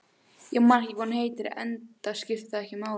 Ég man ekki hvað hún heitir, enda skiptir það ekki máli.